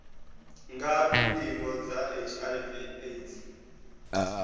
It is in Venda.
ngafhi ndingo dza hiv aids